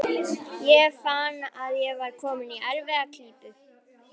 Ég fann að ég var kominn í erfiða klípu.